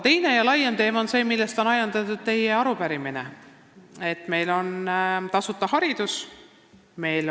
Teine ja laiem teema, millest on ajendatud teie arupärimine, on tasuta haridus.